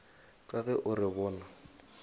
ka ge o re bona